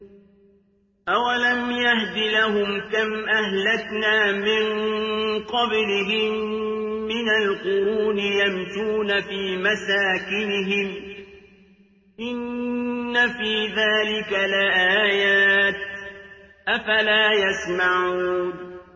أَوَلَمْ يَهْدِ لَهُمْ كَمْ أَهْلَكْنَا مِن قَبْلِهِم مِّنَ الْقُرُونِ يَمْشُونَ فِي مَسَاكِنِهِمْ ۚ إِنَّ فِي ذَٰلِكَ لَآيَاتٍ ۖ أَفَلَا يَسْمَعُونَ